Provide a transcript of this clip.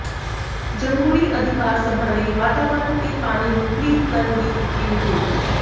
ਜਮਹੂਰੀ ਅਧਿਕਾਰ ਸਭਾ ਨੇ ਵਾਤਾਵਰਨ ਤੇ ਪਾਣੀ ਨੂੰ ਪਲੀਤ ਕਰਨ ਦੀ ਕੀਤੀ ਨਿਖੇਧੀ